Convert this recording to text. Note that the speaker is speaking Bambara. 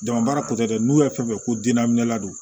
Jama baara kɔfɛ dɛ n'u y'a fɛn fɛn ko dunna minɛla don